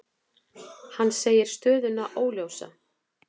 Hann segir stöðuna óljósa.